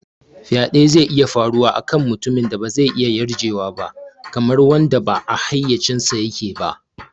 Faɗe zai iya faruwa a kan mutumin da ba zai iya yarjewa ba, kamar wanda ba a hayyacinsa yake ba.